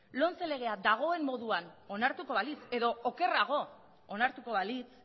lomce legea dagoen moduan onartuko balitz edo okerrago onartuko balitz